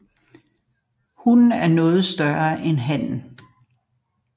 Hunnen er noget større end hannen